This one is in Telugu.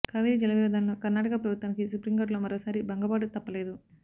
కావేరీ జల వివాదంలో కర్ణాటక ప్రభుత్వానికి సుప్రీంకోర్టులో మరోసారి భంగపాటు తప్పలేదు